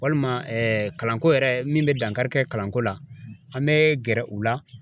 Walima kalanko yɛrɛ min bɛ dankari kɛ kalanko la; an bɛ gɛrɛ u la.